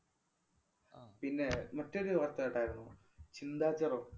ആഹ് പിന്നെ മറ്റൊരു വാര്‍ത്ത കേട്ടാരുന്നോ? ചിന്താ ജെറോം.